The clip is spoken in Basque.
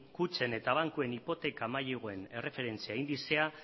kutxen eta bankuen hipoteka maileguen erreferentzia indizea